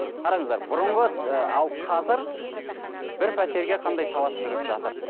қараңыздар бұрынғы ы ал қазір бір пәтерге қандай талас жүріп жатыр